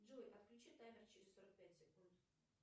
джой отключи таймер через сорок пять секунд